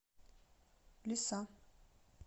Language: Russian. лиса